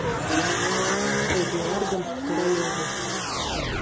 эдуардом королевым